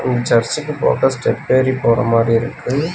இந் சர்ச்சுக்கு போக ஸ்டெப்பேரி போற மாரியிருக்கு.